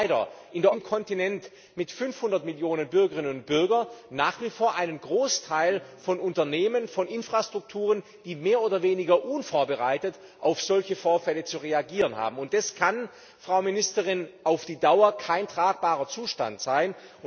Denn wir haben leider in der Europäischen Union, in dem Kontinent mit 500 Millionen Bürgerinnen und Bürgern, nach wie vor einen Großteil von Unternehmen, von Infrastrukturen, die mehr oder weniger unvorbereitet auf solche Vorfälle zu reagieren haben. Das kann auf die Dauer kein tragbarer Zustand sein.